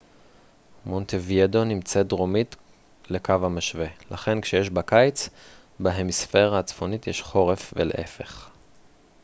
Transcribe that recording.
מונטווידאו נמצאת דרומית לקו המשווה לכן כשיש בה קיץ בהמיספירה הצפונית יש חורף ולהפך